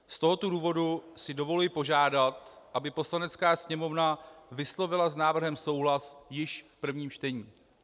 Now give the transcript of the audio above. Z tohoto důvodu si dovoluji požádat, aby Poslanecká sněmovna vyslovila s návrhem souhlas již v prvním čtení.